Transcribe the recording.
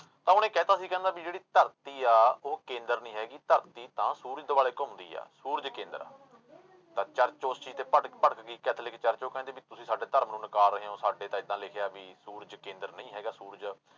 ਤਾਂ ਉਹਨੇ ਕਹਿ ਦਿੱਤਾ ਸੀ ਕਹਿੰਦਾ ਵੀ ਜਿਹੜੀ ਧਰਤੀ ਆ, ਉਹ ਕੇਂਦਰ ਨੀ ਹੈਗੀ ਧਰਤੀ ਤਾਂ ਸੂਰਜ ਦੁਆਲੇ ਘੁੰਮਦੀ ਹੈ, ਸੂਰਜ ਕੇਂਦਰ ਆ ਤਾਂ church ਉਸ ਚੀਜ਼ ਤੇ ਭਟ ਭੜਕ ਗਈ ਕੈਥੇਲਿਕ church ਉਹ ਕਹਿੰਦੇ ਵੀ ਤੁਸੀਂ ਸਾਡੇ ਧਰਮ ਨੂੰ ਨਾਕਾਰ ਰਹੇ ਹੋ, ਸਾਡੇ ਤਾਂ ਏਦਾਂ ਲਿਖਿਆ ਵੀ ਸੂਰਜ ਕੇਂਦਰ ਨਹੀਂ ਹੈਗਾ ਸੂਰਜ